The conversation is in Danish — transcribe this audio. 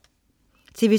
TV2: